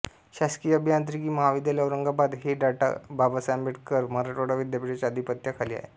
शासकीय अभियांत्रिकी महाविद्यालय औरंगाबाद हे डॉ बाबासाहेब आंबेडकर मराठवाडा विद्यापीठाच्या आधिपत्या खाली आहे